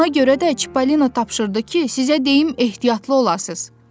Ona görə də Çipalino tapşırdı ki, sizə deyim ehtiyatlı olasınız.